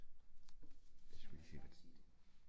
Vi skal lige sige